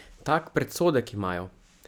Tak predsodek imajo.